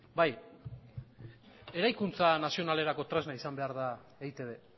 bai eraikuntza nazionalerako tresna izan behar da eitb